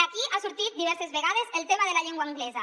aquí ha sortit diverses vegades el tema de la llengua anglesa